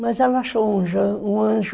Mas ela achou um anjo.